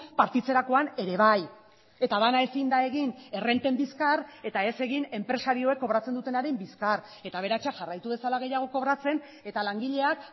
partitzerakoan ere bai eta bana ezin da egin errenten bizkar eta ez egin enpresarioek kobratzen dutenaren bizkar eta aberatsak jarraitu dezala gehiago kobratzen eta langileak